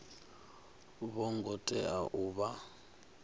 vho ngo tea u vha